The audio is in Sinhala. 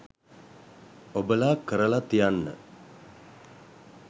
ඔබලා කරලා තියන්න